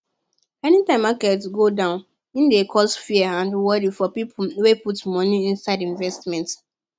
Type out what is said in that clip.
anytime market go down e dey cause fear and worry for people wey put money inside investment